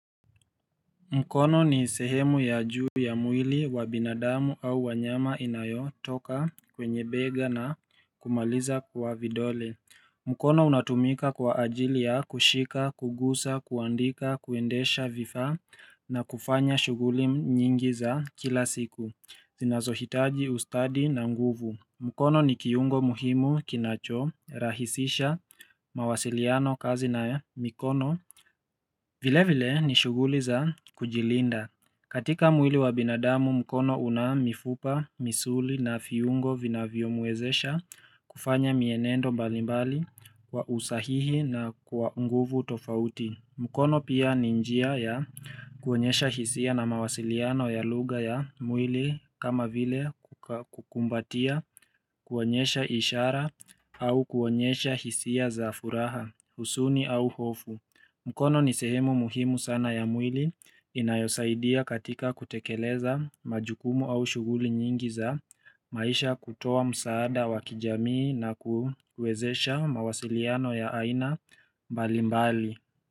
Mkono ni sehemu ya juu ya mwili wa binadamu au wanyama inayo toka kwenye bega na kumaliza kwa vidole mkono unatumika kwa ajili ya kushika, kugusa, kuandika, kuendesha vifaa na kufanya shughuli nyingi za kila siku zinazohitaji ustadi na nguvu mkono ni kiungo muhimu kinacho rahisisha mawasiliano kazi na mikono vile vile ni shughuli za kujilinda. Katika mwili wa binadamu mkono una mifupa, misuli na viungo vina vyomwezesha kufanya mienendo mbalimbali kwa usahihi na kwa nguvu tofauti. Mkono pia ninjia ya kuonyesha hisia na mawasiliano ya lugha ya mwili kama vile kukumbatia kuonyesha ishara au kuonyesha hisia za furaha, huzuni au hofu. Mkono ni sehemu muhimu sana ya mwili inayosaidia katika kutekeleza majukumu au shuguli nyingi za maisha kutoa msaada wakijamii na kuwezesha mawasiliano ya aina mbalimbali.